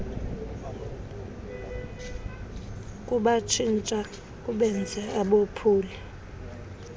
kubatshintsha kubenze abophuli